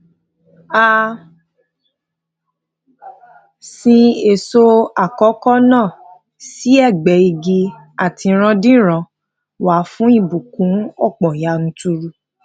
a sin èso àkọkọ náà sí ẹgbe igi atiranderan wa fún ìbùkún ọpọ yanturu